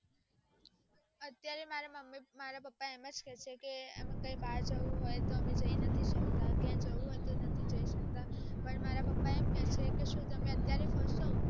અત્યારે મારા મમ્મી પપ્પા એમજ કે છે કે અમે ક્યાય બાર જવું હોઈ તો તો અમે જાય નથી શકતા ક્યાય જવું હોઈ તો નથી જાય શકતા પણ મારા પપ્પા કે ક તમે અત્યારે ફરસો